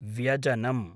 व्यजनम्